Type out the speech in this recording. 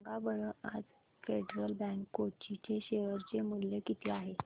सांगा बरं आज फेडरल बँक कोची चे शेअर चे मूल्य किती आहे